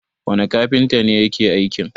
wane kafinta ne ya ke aikin?